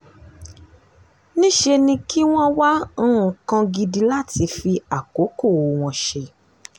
níṣẹ́ ni kí wọ́n wá nǹkan gidi láti fi àkókò wọn ṣe